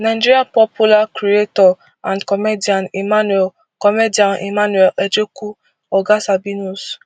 nigeria popular creator and comedian emmanuel comedian emmanuel ejekwu oga sabinus